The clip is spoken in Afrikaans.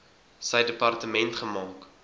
sy departement gemaak